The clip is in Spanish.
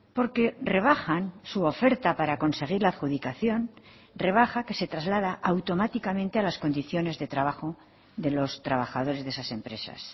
porque rebajan su oferta para conseguir la adjudicación rebaja que se traslada automáticamente a las condiciones de trabajo de los trabajadores de esas empresas